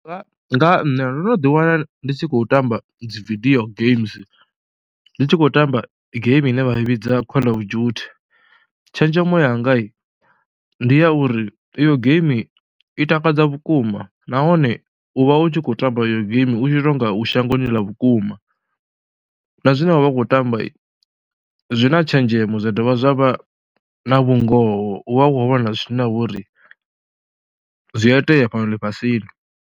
Nga nṋe ndo no ḓiwana ndi tshi khou tamba dzi video games, ndi tshi khou tamba game ine vha i vhidza Call of Duty. Tshenzhemo yanga ndi ya uri iyo game i takadza vhukuma nahone u vha u tshi khou tamba iyo game u tshi tou nga u shangoni ḽa vhukuma na zwine wa vha u khou tamba zwi na tshenzhemo zwa dovha zwa vha na vhungoho, u vha u khou vhona zwine zwa vha uri zwi a itea fhano ḽifhasini.